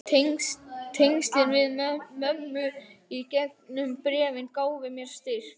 Tengslin við mömmu í gegnum bréfin gáfu mér styrk.